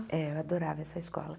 É, eu adorava essa escola.